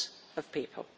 of people.